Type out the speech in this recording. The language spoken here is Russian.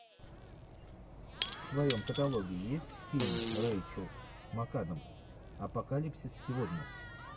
в твоем каталоге есть фильм рэйчел макадамс апокалипсис сегодня